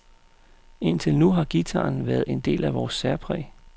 Indtil nu har guitaren været en del af vores særpræg.